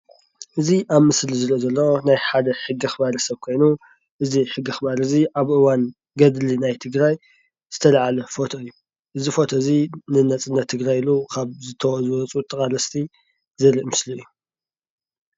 እዚ አብ ምስሊ ዝረእ ዘሎ ናይ ሓደ ሕጊ አክባሪ ሰብ ኮይኑ እዚ ሕጊ አከባሪ እዚ አብ እዋን ገድሊ ናይ ትግራይ ዝተልዓለ ፎቶ እዩ:: እዚ ፎቶ እዚ ንነፃነት ትግራይ ኢሉ ካብ ዝተዋፅኡ ኮይኑ ተቃለስቲ ዘሪኢ እዩ፡፡